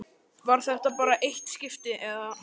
Var þetta bara eitt skipti, eða.